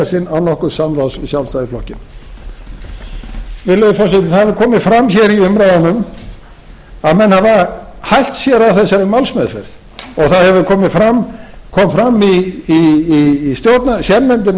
sinn án nokkurs samráðs við sjálfstæðisflokkinn virðulegi forseti það hefur komið fram hér í umræðunum að menn hafa hælt sér af þessari málsmeðferð og það hefur komið fram kom fram í sérnefndinni um